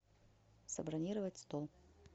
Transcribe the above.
забронировать стол